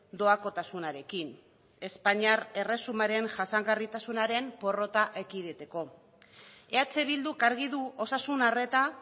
doakotasunarekin espainiar erresumaren jasangarritasunaren porrota ekiditeko eh bilduk argi du osasun arreta